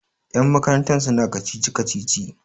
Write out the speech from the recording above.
yanmakaranta suna kacici-kacici